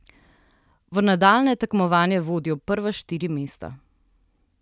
V nadaljnje tekmovanje vodijo prva štiri mesta.